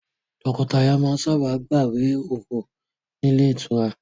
Tọkọtaya máa sábà gbawe òru ni Ile itura